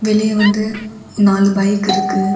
வெளிய வந்து நாலு பைக் இருக்கு.